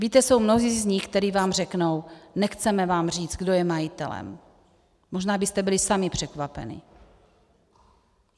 Víte, jsou mnozí z nich, kteří vám řeknou: nechceme vám říct, kdo je majitelem, možná byste byli sami překvapeni.